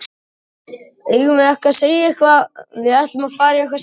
Eigum við ekki að segja að við ætlum að fara í eitthvað slíkt?